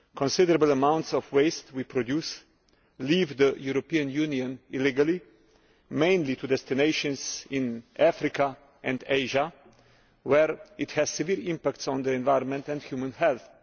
Considerable amounts of the waste we produce leave the European Union illegally, mainly to destinations in Africa and Asia, where it has a severe impact on the environment and human health.